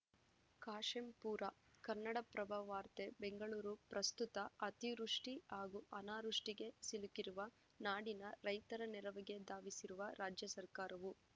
ಕಾಶೆಂಪೂರ ಕನ್ನಡಪ್ರಭ ವಾರ್ತೆ ಬೆಂಗಳೂರು ಪ್ರಸುತ್ತ ಅತಿವೃಷ್ಟಿಹಾಗೂ ಅನಾವೃಷ್ಟಿಗೆ ಸಿಲುಕಿರುವ ನಾಡಿನ ರೈತರ ನೆರವಿಗೆ ಧಾವಿಸಿರುವ ರಾಜ್ಯ ಸರ್ಕಾರವು